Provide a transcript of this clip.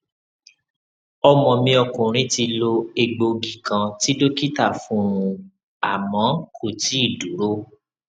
ọmọ mi ọkùnrin ti lo egboogí kan tí dókítà fún un àmọ kò tíì dúró